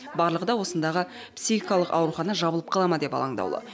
барлығы да осындағы психикалық аурухана жабылып қала ма деп алаңдаулы